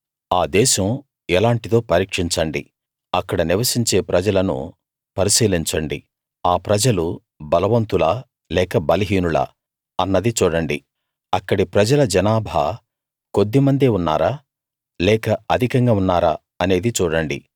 ఆ దేశం ఎలాంటిదో పరీక్షించండి అక్కడ నివసించే ప్రజలను పరిశీలించండి ఆ ప్రజలు బలవంతులా లేక బలహీనులా అన్నది చూడండి అక్కడి ప్రజల జనాభా కొద్దిమందే ఉన్నారా లేక అధికంగా ఉన్నారా అనేది చూడండి